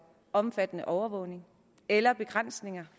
omfattende overvågning eller begrænsninger